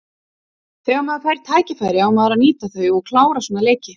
Þegar maður fær tækifæri á maður að nýta þau og klára svona leiki.